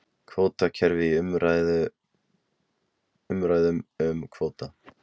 Kvótakerfi í umræðum um kvóta